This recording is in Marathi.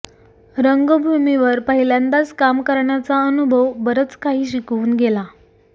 रंगभीवर पहिल्यांदाच काम करण्याचा अनुभव बरंच काही शिकवून गेला